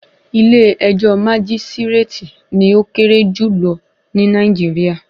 Ilé ẹjọ́ májísírátì ni ó kéré jùlọ ní Nàìjíríà.